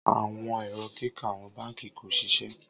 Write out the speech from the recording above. Awọn ẹrọ kika awọn banki ko ṣiṣẹ